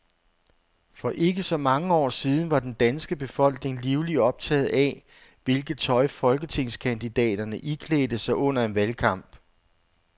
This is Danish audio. For ikke så mange år siden var den danske befolkning livligt optaget af, hvilket tøj folketingskandidaterne iklædte sig under en valgkamp.